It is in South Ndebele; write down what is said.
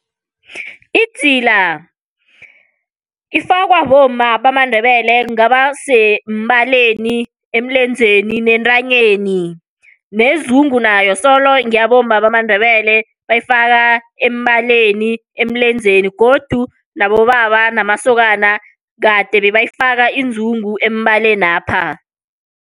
Idzila ifakwa bomma bamaNdebele kungabasembaleni, emlenzeni nentanyeni. Nezungu nayo solo ngeyabomma bamaNdebele bayifaka embaleni emlenzeni, godu nabobaba namasokana kade bebayifaka izungu embalenapha.